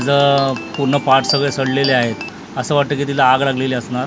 ह्याचं पूर्ण पार्ट सगळे सडलेले आहेत असं वाटतंय की तिला आग लागलेली असणार त्या--